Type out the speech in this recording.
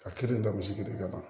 A kelen lagosi de kama